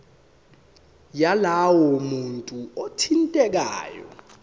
yalowo muntu othintekayo